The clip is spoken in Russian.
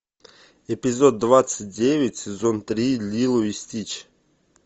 эпизод двадцать девять сезон три лило и стич